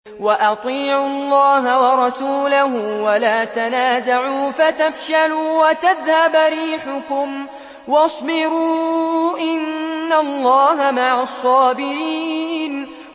وَأَطِيعُوا اللَّهَ وَرَسُولَهُ وَلَا تَنَازَعُوا فَتَفْشَلُوا وَتَذْهَبَ رِيحُكُمْ ۖ وَاصْبِرُوا ۚ إِنَّ اللَّهَ مَعَ الصَّابِرِينَ